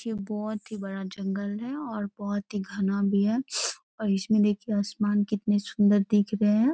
ये बहुत ही बड़ा जंगल है और बहुत ही घना भी है और इसमें देखिये आसमान कितने सुन्दर दिख रहें हैं।